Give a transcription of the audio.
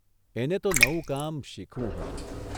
એને તો નવું કામ શીખવું હતું.